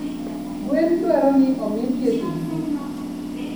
Gwen dwaro ni omii thieth didi?